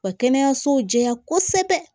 Wa kɛnɛyasow jɛya kosɛbɛ